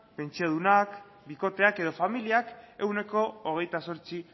pentsiodunak bikoteak edo familiak ehuneko hogeita zortzi